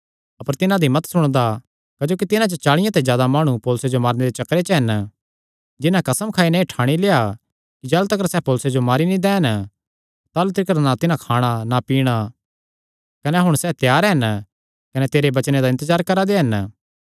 अपर तिन्हां दी मत सुणदा क्जोकि तिन्हां च चाल़ियां ते जादा माणु पौलुसे जो मारने दे चक्करे च हन जिन्हां कसम खाई नैं एह़ ठाणी लेआ कि जाह़लू तिकर सैह़ पौलुसे जो मारी नीं दैन ताह़लू तिकर ना तिन्हां खाणा ना पीणा कने हुण सैह़ त्यार हन कने तेरे वचने दा इन्तजार करा दे हन